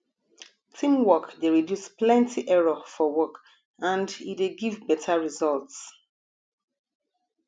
teamwork de reduce plenty error for work and e de give better results